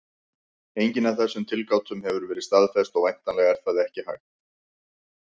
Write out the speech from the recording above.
Engin af þessum tilgátum hefur verið staðfest, og væntanlega er það ekki hægt.